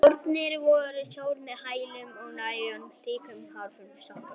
Skórnir voru támjóir með háum hælum, og nælon var ríkjandi hráefni í sokkabuxum.